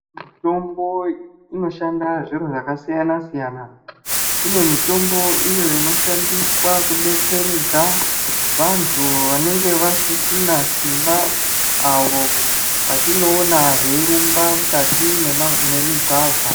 Mutombo inoshanda zviro zvakasiyana-siyana. Kune mutombo iyo inoshandiswa kudetseredza vantu vanenge vasisina simba, avo vatinoona veirumba mukati mema memigwagwa.